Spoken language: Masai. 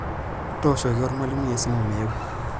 Tooshoki olmalimui esimu meeu.